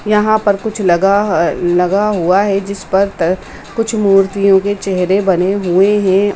यहाँ पे कुछ लगा लगा हुआ है जिस पर कुछ मूर्तियों के चहरे बने हुए है।